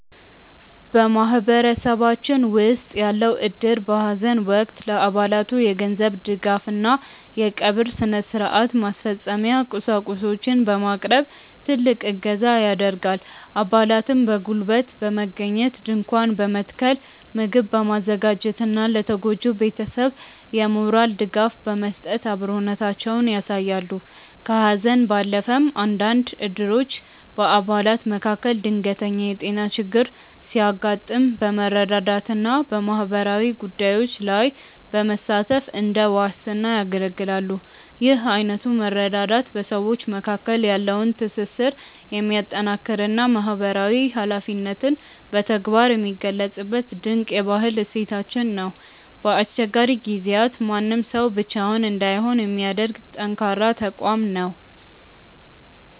በማህበረሰባችን ውስጥ ያለው እድር በሐዘን ወቅት ለአባላቱ የገንዘብ ድጋፍና የቀብር ሥነ-ሥርዓት ማስፈጸሚያ ቁሳቁሶችን በማቅረብ ትልቅ እገዛ ያደርጋል። አባላትም በጉልበት በመገኘት ድንኳን በመትከል፣ ምግብ በማዘጋጀትና ለተጎጂው ቤተሰብ የሞራል ድጋፍ በመስጠት አብሮነታቸውን ያሳያሉ። ከሐዘን ባለፈም፣ አንዳንድ እድሮች በአባላት መካከል ድንገተኛ የጤና ችግር ሲያጋጥም በመረዳዳትና በማህበራዊ ጉዳዮች ላይ በመሳተፍ እንደ ዋስትና ያገለግላሉ። ይህ አይነቱ መረዳዳት በሰዎች መካከል ያለውን ትስስር የሚያጠናክርና ማህበራዊ ኃላፊነትን በተግባር የሚገልጽበት ድንቅ የባህል እሴታችን ነው። በአስቸጋሪ ጊዜያት ማንም ሰው ብቻውን እንዳይሆን የሚያደርግ ጠንካራ ተቋም ነው።